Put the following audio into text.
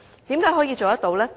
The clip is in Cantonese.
為何可以做到呢？